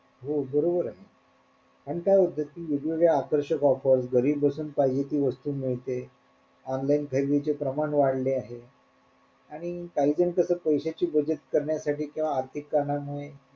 हो बरोबरे आणि काय होत कि वेगवेगळ्या आकर्षक offer घरी बसून पाहिजे ती वस्तू मिळते online खरेदीचे प्रमाण वाढले आहे आणि काहीजण कस पैश्याची बचत करण्यासाठी किंवा आर्थिक कारणामुळे,